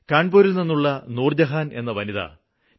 കാണ്പൂരില്നിന്നുള്ള നൂര്ജഹാന് എന്ന വനിത ടി